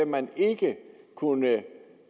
man ikke kunne